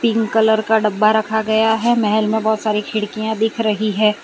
Pink colour का डब्बा रखा गया है महेल में बहोत सारी खिड़कियां दिख रही है।